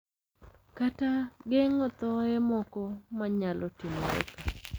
Kata geng`o thoye moko ma nyalo timore ka,